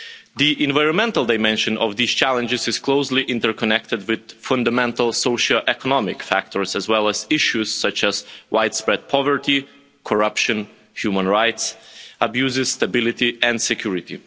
The environmental dimension of these challenges is closely interconnected with fundamental socio economic factors, as well as issues such as widespread poverty, corruption, human rights abuses, stability and security.